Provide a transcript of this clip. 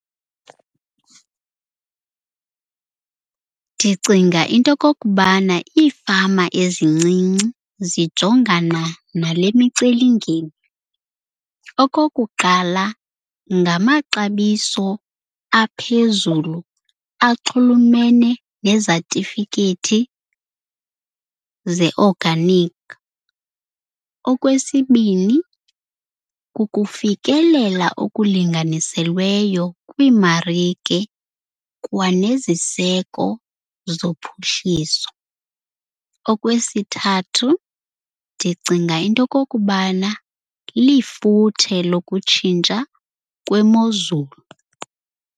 Ndicinga into yokokubana iifama ezincinci zijongana nale micelimngeni. Okokuqala, ngamaxabiso aphezulu axhulumene nezatifikethi ze-organic. Okwesibini, kukufikelela okulinganiselweyo kwiimarike kwanezisiseko zophuhliso. Okwesithathu, ndicinga into yokokubana lifuthe lokutshintsha kwemozulu.